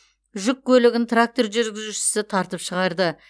жүк көлігін трактор жүргізушісі тартып шығарды